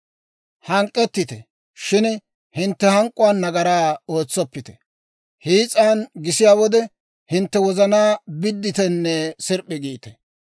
Hank'k'ettite, shin hintte hank'k'uwaan nagaraa ootsoppite. Hiis'an gisiyaa wode, hintte wozanaa biditenne sirp'p'i giite.